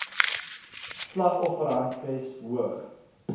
slag offerhandves hoog